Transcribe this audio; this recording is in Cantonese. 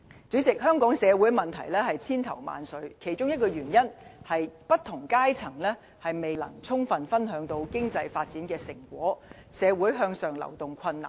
主席，香港社會的問題千頭萬緒，其中一個原因，是不同階層未能充分分享經濟發展的成果，社會向上流動困難。